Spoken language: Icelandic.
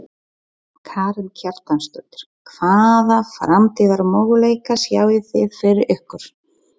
Karen Kjartansdóttir: Hvaða framtíðarmöguleika sjáið þið fyrir ykkur?